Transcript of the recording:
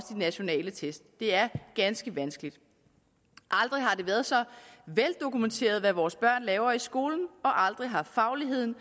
nationale test det er ganske vanskeligt aldrig har det været så veldokumenteret hvad vores børn laver i skolen og aldrig har fagligheden